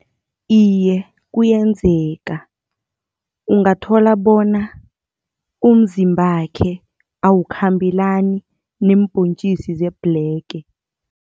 Iye, kuyenzeka, ungathola bona umzimbakhe awukhambelani neembhontjisi zebhlege.